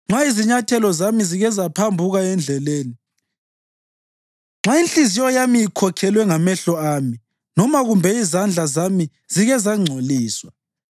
nxa izinyathelo zami zike zaphambuka endleleni, nxa inhliziyo yami ikhokhelwe ngamehlo ami, noma kumbe izandla zami zike zangcoliswa,